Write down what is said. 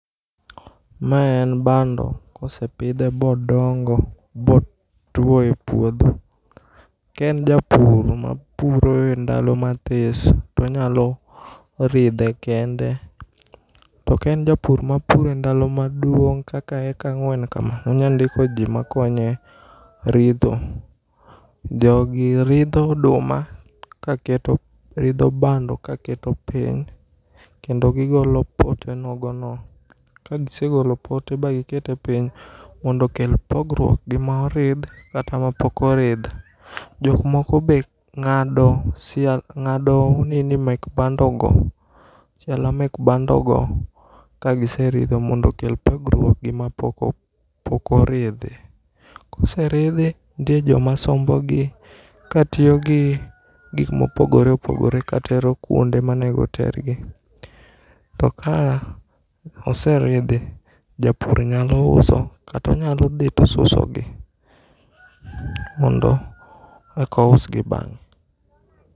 Ma en bando ka osepidhe bodongo botwo e puotho. Ka en japur ma puro e ndalo ma this to onyalo ridhe kende, to ka en japur ma puro e ndalo ma maduong kaka heka ang'wen ka ma onyalo ndiko jo ma konye ritho. Jogi ridho oduma ka keto ridho bando ka keto piny kendo gi golo pote nogo no ka gi segolo pote ba gi keto piny mondo okel pogruok gi ma oridh kata ma pok oridh. jok moko be ng'ado ng'ado nini[cs mek bando go siala mag bando go mondo oket pogruok gi ma pok oridhi. Ka oseridhi nitie jo ma sombo gi ka tiyo gi gik ma opogore opogore ka tero kuonde ma onego ter gi to ka oseridhi japur nyalo uso kata onyalo dhi to osuso gi mondo eka ous gi bang'e.